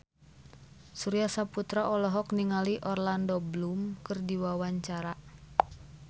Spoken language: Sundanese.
Surya Saputra olohok ningali Orlando Bloom keur diwawancara